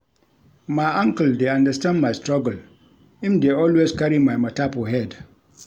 MY uncle dey understand my struggle, him dey always carry my mata for head.